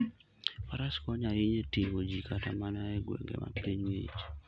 Faras konyo ahinya e ting'o ji kata mana e gwenge ma piny ng'ich.